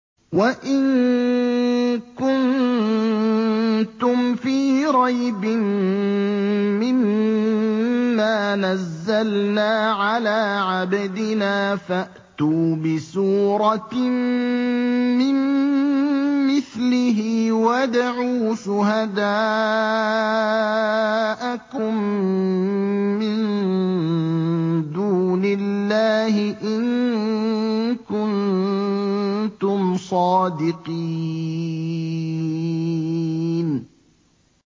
وَإِن كُنتُمْ فِي رَيْبٍ مِّمَّا نَزَّلْنَا عَلَىٰ عَبْدِنَا فَأْتُوا بِسُورَةٍ مِّن مِّثْلِهِ وَادْعُوا شُهَدَاءَكُم مِّن دُونِ اللَّهِ إِن كُنتُمْ صَادِقِينَ